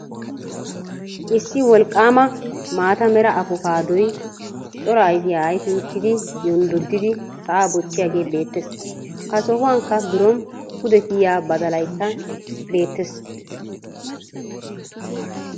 Issi wolqqaama maata mera apokaadoy cora ayfiya ayfii uttidi yonddoddidi sa'a bochchiyagee beettees. Ha sohuwankka biron pudde kiyiya badalaykka beettees.